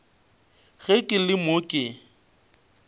ge ke le mo ke